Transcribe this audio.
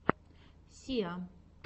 сиа